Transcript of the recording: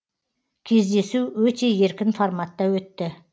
кездесу өте еркін форматта өтті